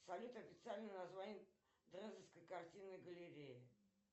салют официальное название дрезденской картинной галереи